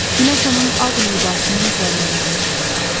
Günəş onun ağ libasının zərrələrini parıldatdı.